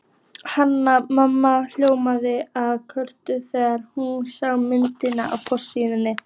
Hanna-Mamma hljóðaði af kvölum þegar hún sá myndina á forsíðunni.